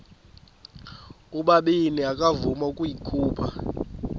ubabini akavuma ukuyikhupha